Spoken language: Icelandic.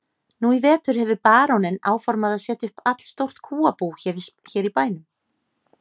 Nú í vetur hefur baróninn áformað að setja upp allstórt kúabú hér í bænum.